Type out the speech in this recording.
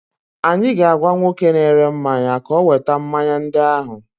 Anyị ga-agwa nwoke na-ere mmanya ka oweta mmanya ndị ahụ.